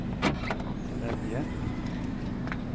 Evje